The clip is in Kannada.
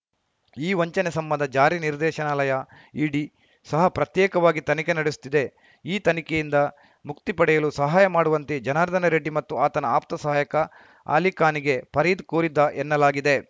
ಈ ವಂಚನೆ ಸಂಬಂಧ ಜಾರಿ ನಿರ್ದೇಶನಾಲಯ ಇಡಿ ಸಹ ಪ್ರತ್ಯೇಕವಾಗಿ ತನಿಖೆ ನಡೆಸುತ್ತಿದೆ ಈ ತನಿಖೆಯಿಂದ ಮುಕ್ತಿ ಪಡೆಯಲು ಸಹಾಯ ಮಾಡುವಂತೆ ಜನಾರ್ದನ ರೆಡ್ಡಿ ಮತ್ತು ಆತನ ಆಪ್ತ ಸಹಾಯಕ ಅಲಿಖಾನ್‌ಗೆ ಫರೀದ್‌ ಕೋರಿದ್ದ ಎನ್ನಲಾಗಿದೆ